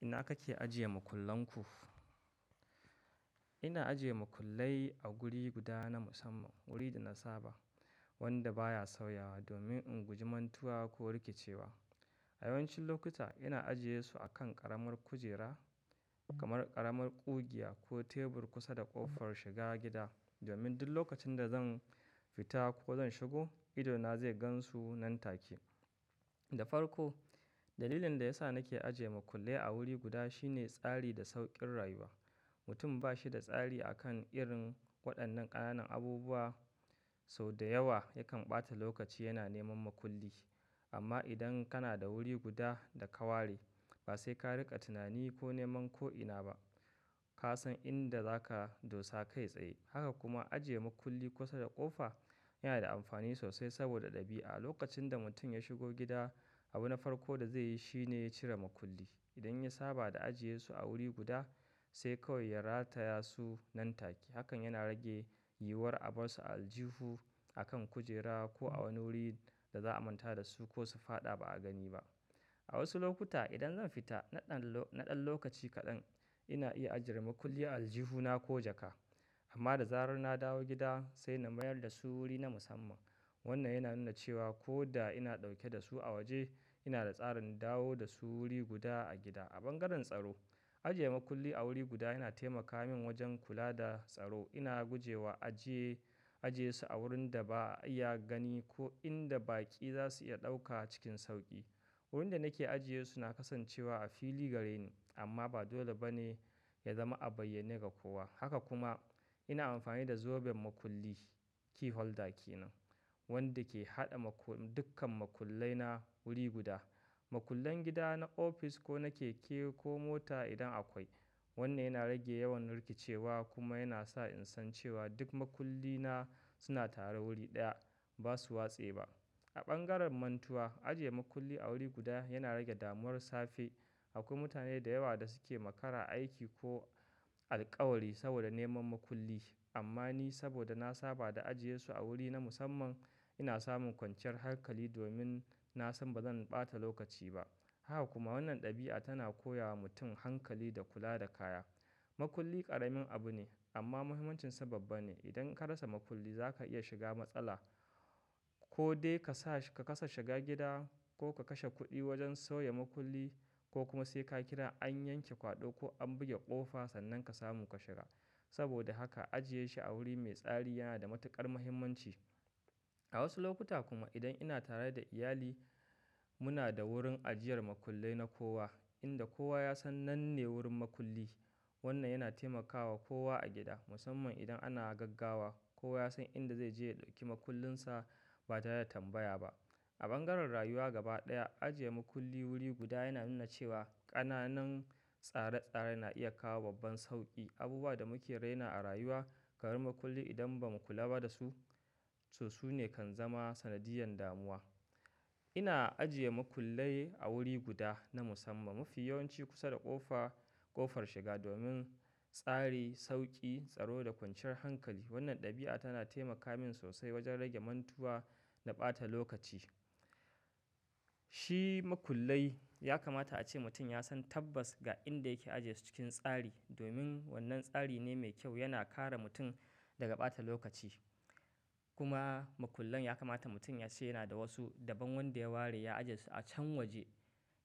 Ina kake ajiye makullan ku? Ina ajiye makullai a wuri guda na musamman, wuri da na saba wanda baya sauyawa domin in guji mantuwa ko rikicewa. A yawancin lokuta ina ajiye su a kan ƙaramar kujera kamar ƙaramar ƙugiya ko tebur kusa da ƙofar shiga gida domin duk lokacin da zan fita ko zan shigo, idona zai gan su nan take. Da farko dalilin da ya sa nake ajiye makullai a wuri guda shine tsari da sauƙin rayuwa. Mutum ba shi da tsari akan irin waɗannan ƙananan abubuwa sau da yawa yakan ɓata lokaci yana neman makulli. Amma idan kana da wuri guda da ka ware ba sai ka riƙa tunani ko neman ko ina ba. Ka san inda zaka dosa kai tsaye. Haka kuma ajiye makulli kusa da ƙofa yana da amfani sosai saboda ɗabi'a. Lokacin da mutum ya shigo gida, abu na farko da zai yi shine cire makulli. Idan ya saba da ajiye su a wuri guda sai kawai ya rataya su nan take. Hakan yana rage yiwuwar a bar su a aljihu, akan kujera ko a wani wurin da za a manta da su ko su faɗa ba a gani ba. A wasu lokuta idan zan fita naɗan, naɗan lokaci kaɗan ina iya ajiyar makulli a aljihuna ko jaka. Amma da zarar na dawo gida sai na mayar da su wuri na musamman. Wannan yana nuna cewa ko da ina ɗauke da su a waje, ina da tsarin dawo da su wuri guda a gida. A bangaren tsaro, ajiye makulli a wuri guda yana taimaka min wajen kula da tsaro. Ina gujewa ajiye, ajiye su a wurin da ba a iya gani ko inda baƙi za su iya ɗauka cikin sauƙi. Wurin da nake ajiye su na kasancewa a fili gare ni amma ba dole ba ne ya zama a bayyane ga kowa. Haka kuma ina amfani da zoben makulli "key holder" kenan wanda ke haɗa dukkan makullai na wuri guda. Makullan gida na ofis ko na keke ko mota idan akwai. Wannan yana rage yawan rikicewa kuma yana sa in san cewa duk makulli na suna tare wuri ɗaya ba su watse ba. A bangaren mantuwa, ajiye makulli a wuri guda yana rage damuwar safe. Akwai mutane da yawa da suke makara aiki ko alƙawari saboda neman makulli. Amma ni saboda na saba da ajiye su a wuri na musamman ina samun kwanciyar hankali domin na san bazan ɓata lokaci ba. Haka kuma wannan ɗabi'a tana koya wa mutum hankali da kula da kaya. Makulli ƙaramin abu ne amma muhimmancinsa babba ne. Idan ka rasa makulli za ka iya shiga matsala ko dai ka kasa shiga gida ko ka kashe kuɗi wajen soya makulli ko kuma sai ka kira an yanke kwaɗo ko an buge ƙofa sannan ka samu ka shiga. Saboda haka ajiye shi a wuri mai tsari yana da matuƙar muhimmanci. A wasu lokuta kuma idan ina tare da iyali muna da wurin ajiyar makullai na kowa inda kowa ya san nan ne wurin makulli. Wannan yana taimakawa kowa a gida musamman idan ana gaggawa. Kowa ya san inda zai je ya ɗauki makullinsa ba tare da tambaya ba. A bangaren rayuwa gaba ɗaya, ajiye makulli wuri guda yana nuna cewa ƙananan tsare-tsare na iya kawo babban sauƙi. Abubuwa da muke raina a rayuwa, karin makulli idan ba mu kula ba da su, su su ne kan zama sanadiyyar damuwa. Ina ajiye makullai a wuri guda na musamman mafi yawanci kusa da ƙofa, ƙofar shiga domin tsari, sauƙi, tsaro da kwanciyar hankali. Wannan ɗabi'a tana taimaka min sosai wajen rage mantuwa da ɓata lokaci. Shi makullai ya kamata ace mutum ya san tabbas ga inda yake ajiye su cikin tsari domin wannan tsari ne mai kyau yana kare mutum daga ɓata lokaci. Kuma makullan ya kamata mutum ya ce yana da wasu daban wanda ya ware ya ajiye su a can waje.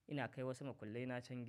Ina kai wasu makullai na can gida.